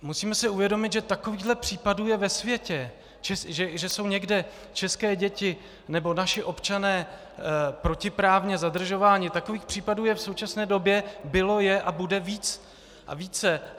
Musíme si uvědomit, že takových případů je ve světě, že jsou někde české děti nebo naši občané protiprávně zadržování, takových případů je v současné době, bylo, je a bude víc a víc.